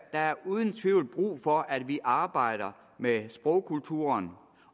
er uden tvivl brug for at vi arbejder med sprogkulturen